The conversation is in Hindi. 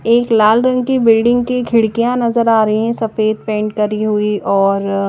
एक लाल रंग की बिल्डिंग की खिड़किया नज़र आरही है सफ़ेद पेंट करी हुई और अः--